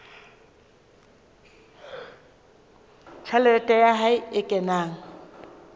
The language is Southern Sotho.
tjhelete ya hae e kenang